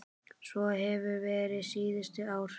Svo hefur verið síðustu ár.